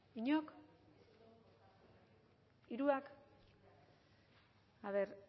inork hiruak a ver